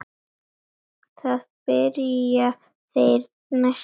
Byrja þeir næsta leik?